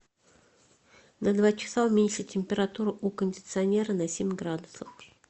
на два часа уменьши температуру у кондиционера на семь градусов